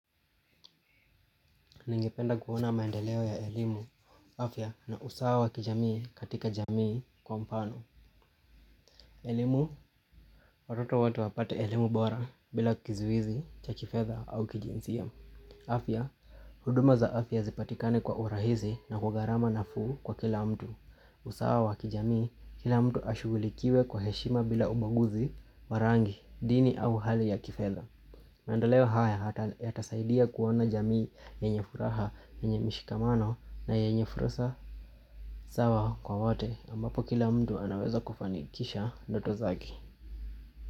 Ningependa kuona maendeleo ya elimu, afya na usawa wa kijamii katika jamii kwa mfano. Elimu, watoto wote wapate elimu bora bila kizuizi, cha kifedha au kijinsia. Afya, huduma za afya zipatikane kwa urahisi na kwa gharama nafuu kwa kila mtu. Usawa wakijamii, kila mtu ashugulikiwe kwa heshima bila ubaguzi, wa rangi, dini au hali ya kifedha. Maendeleo haya yatasaidia kuona jamii yenye furaha, yenye mshikamano na yenye fursa. Usawa kwa wote ambapo kila mtu anaweza kufanikisha ndoto zake.